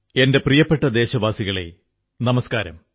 എന്റെ പ്രിയപ്പെട്ട ദേശവാസികളേ നമസ്കാരം